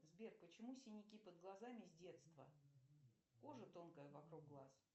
сбер почему синяки под глазами с детства кожа тонкая вокруг глаз